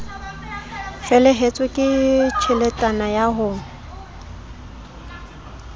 felehetswe ke tjheletana ya ho